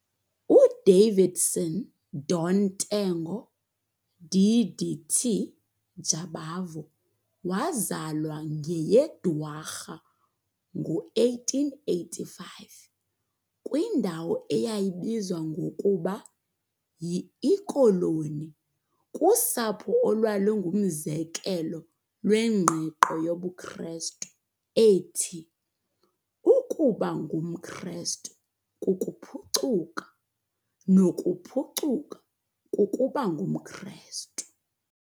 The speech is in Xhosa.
UDavidson Don Tengo, D.D.T, Jabavu wazalwa ngeyeDwarha ngo-1885, kwindawo eyayibizwa ngokuba yi-, Ikoloni, kusapho olwalungumzekelo lwengqiqo yobuKrestu ethi, ukuba ngumKrestu kukuphucuka, nokuphucuka kukuba ngumKrestu.